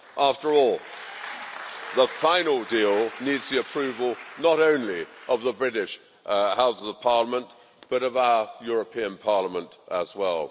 After all, the final deal needs the approval not only of the British Houses of Parliament but of our European Parliament as well.